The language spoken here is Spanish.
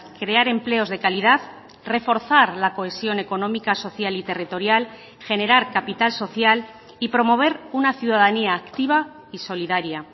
crear empleos de calidad reforzar la cohesión económica social y territorial generar capital social y promover una ciudadanía activa y solidaria